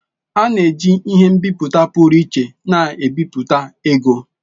A na-eji ihe nbiputa pụrụ iche na-ebipụta ego.